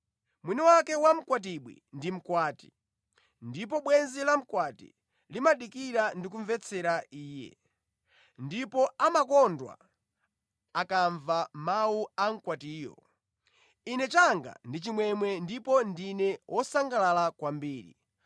Mwini wake wa mkwatibwi ndi mkwati. Ndipo bwenzi lamkwati limadikira ndi kumvetsera iye, ndipo amakondwa akamva mawu a mkwatiyo. Ine changa ndi chimwemwe ndipo ndine wosangalala kwambiri.